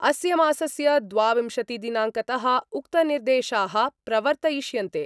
अस्य मासस्य द्वाविंशतिदिनांकत: उक्तनिर्देशा: प्रवर्तयिष्यन्ते।